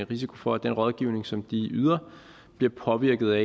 risiko for at den rådgivning som de yder bliver påvirket af